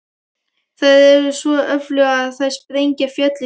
Þær eru svo öflugar að þær sprengja fjöll í sundur.